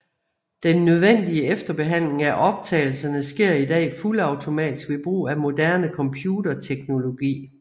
Den nødvendige efterbehandling af optagelserne sker i dag fuldautomatisk ved brug af moderne computerteknologi